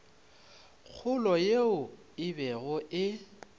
kgolo yeo e bego e